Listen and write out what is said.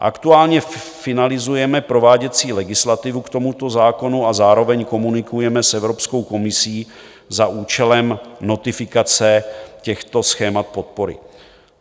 Aktuálně finalizujeme prováděcí legislativu k tomuto zákonu a zároveň komunikujeme s Evropskou komisí za účelem notifikace těchto schémat podpory.